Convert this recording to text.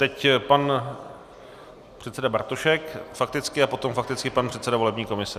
Teď pan předseda Bartošek fakticky a potom fakticky pan předseda volební komise.